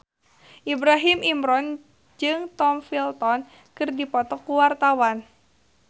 Ibrahim Imran jeung Tom Felton keur dipoto ku wartawan